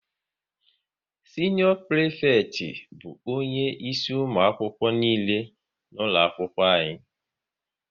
Sinior prifekti bụ onye isi ụmụ akwụkwọ nile nọ n'ụlọ akwụkwọ